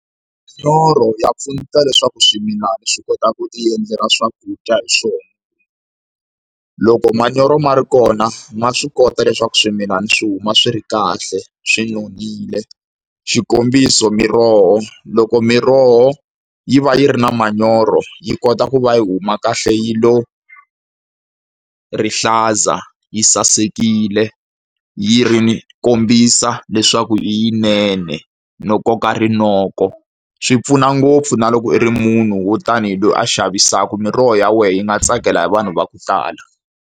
Manyoro ya pfuneta leswaku swimilana swi kota ku ti endlela swakudya hi swona. Loko manyoro ma ri kona ma swi kota leswaku swimilana swi huma swi ri kahle, swi nonile. Xikombiso miroho loko miroho yi va yi ri na manyoro yi kota ku va yi huma kahle yi lo rihlaza, yi sasekile, yi ri ni kombisa leswaku i yi nene no koka rinoko. Swi pfuna ngopfu na loko i ri munhu wo tanihi loyi a xavisaka, miroho ya wena yi nga tsakela hi vanhu va ku tala.